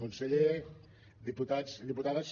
conseller diputats i diputades